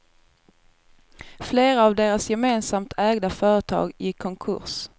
Flera av deras gemesamt ägda företag gick konkurs.